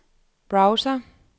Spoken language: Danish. browser